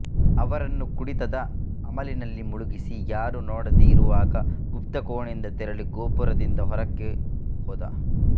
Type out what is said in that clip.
ಅವರನ್ನು ಕುಡಿತದ ಅಮಲಿನಲ್ಲಿ ಮುಳುಗಿಸಿ ಯಾರೂ ನೋಡದೇ ಇರುವಾಗ ಗುಪ್ತ ಕೋಣೆಯಿಂದ ತೆರಳಿ ಗೋಪುರದಿಂದ ಹೊರಕ್ಕೆ ಹೋದ